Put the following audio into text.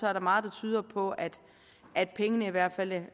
er der meget der tyder på at at pengene i hvert fald